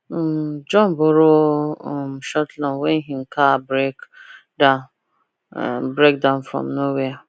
um john borrow um short loan when him car break down break down from nowhere